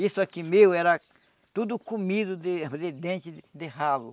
Isso aqui meu era tudo comido de de dente de ralo.